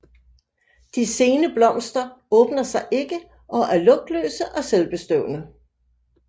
De sene blomster åbner sig ikke og er lugtløse og selvbestøvende